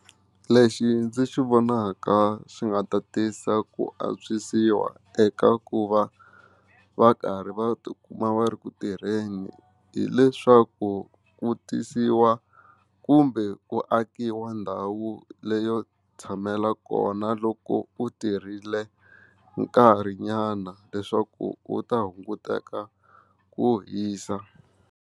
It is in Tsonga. Lexi ndzi xi vonaka xi nga ta tisa ku antswisiwa eka ku va va karhi va ti kuma va ri ku tirheni hileswaku ku tisiwa kumbe ku akiwa ndhawu leyo tshamela kona loko u tirhile nkarhi nyana leswaku u ta hunguteka ku hisa.